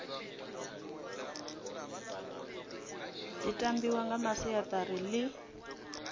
dzi tambiwa nga masiari ḽi